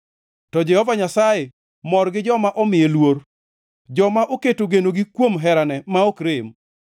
to Jehova Nyasaye mor gi joma omiye luor; joma oketo genogi kuom herane ma ok rem.